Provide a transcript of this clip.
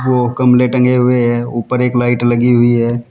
ओ गमले टंगे हुए है ऊपर एक लाइट लगी हुई है।